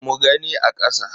Mu gani a kasa.